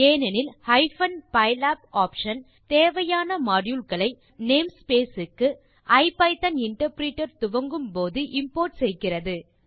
ஏனெனில் ஹைப்பன் பைலாப் ஆப்ஷன் தேவையான மாடியூல் களை நம் name ஸ்பேஸ் க்கு ஐபிதான் இன்டர்பிரிட்டர் துவங்கும் போது இம்போர்ட் செய்கிறது